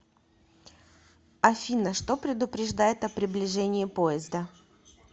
афина что предупреждает о приближении поезда